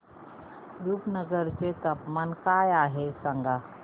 रुपनगर चे तापमान काय आहे सांगा